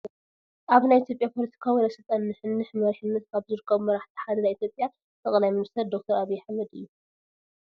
ኣብ ናይ ኢ/ያ ፖለቲካዊ ናይ ስልጣን ንሕንሕ መሪሕነት ካብ ዝረኸቡ መራሕቲ ሓደ ናይ ኢ/ያ ጠ/ ሚ/ ዶ/ር ኣብይ ኣሕመድ እዮ፡፡